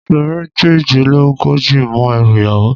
Máà fi iṣu méjìlélógójì mọ́ ẹrù ìyàwó